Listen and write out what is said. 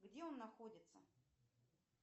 где он находится